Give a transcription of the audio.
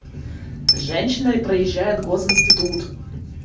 женщина и проезжает гос институт